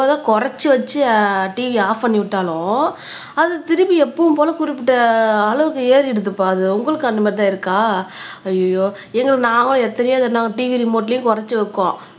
குறைச்சு வச்சு TV off பண்ணி விட்டாலும் அது திருப்பி எப்பவும் போல குறிப்பிட்ட அளவுக்கு ஏறிடுதுப்பா அது உங்களுக்கு அந்த மாதிரி தான் இருக்கா ஐயையோ எங்களை நாங்களும் எத்தனையோ இதை நாங்க TV ரிமோட்லயும் குறைச்சு வைப்போம்